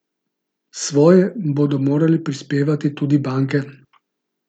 Svoje bodo morale prispevati tudi banke.